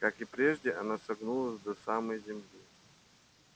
как и прежде оно согнулось до самой земли